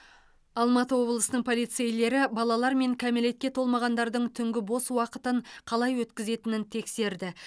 алматы облысының полицейлері балалар мен кәмелетке толмағандардың түнгі бос уақытын қалай өткізетінін тексерді